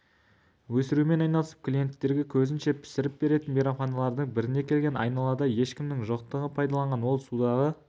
өсірумен айналысып клиенттерге көзінше пісіріп беретін мейрамханалардың біріне келген айналада ешкімнің жоқтығын пайдаланған ол судағы